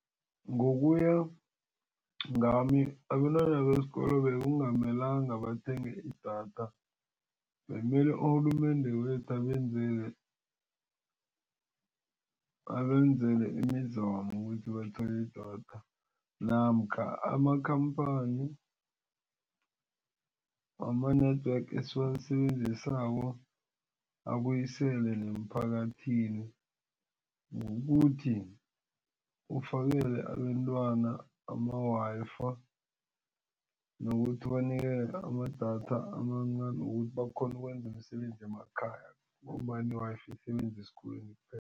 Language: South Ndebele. Ngokuya ngami abentwana besikolo bekungamelanga balithenge idatha bemele urhulumende wethu abenzele abenzele imizamo ukuthi bathole idatha namkha amakhamphani wama-network esiwasebenzisako abuyisele nemphakathini ngokuthi ufakele abentwana ama-Wi-Fi nokuthi banikelwe amadatha amancani wokuthi bakghone ukwenza imisebenzi emakhaya ngombana i-Wi-Fi isebenza esikolweni